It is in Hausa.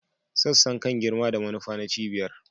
Sassan kan girma da manufa na cibiyar